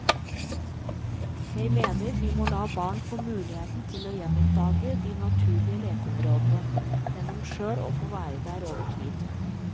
Jeg mener vi må la barn få muligheten til å gjenoppdage de naturlige lekeområdene, gjennom selv å få være der over tid.